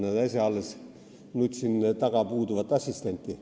Näed, äsja alles nutsin taga puuduvat assistenti.